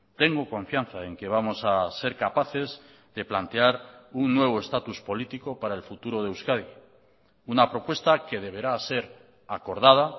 tengo confianza en que vamos a ser capaces de plantear un nuevo estatus político para el futuro de euskadi una propuesta que deberá ser acordada